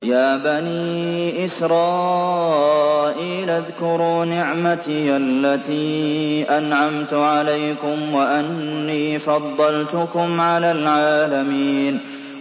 يَا بَنِي إِسْرَائِيلَ اذْكُرُوا نِعْمَتِيَ الَّتِي أَنْعَمْتُ عَلَيْكُمْ وَأَنِّي فَضَّلْتُكُمْ عَلَى الْعَالَمِينَ